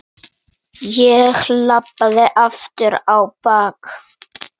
Ég labbaði aftur á bak.